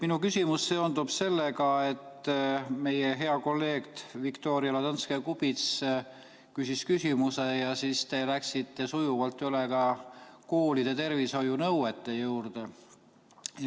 Minu küsimus seondub sellega, et meie hea kolleeg Viktoria Ladõnskaja-Kubits küsis küsimuse ja teie läksite sujuvalt üle koolide tervishoiunõuete juurde.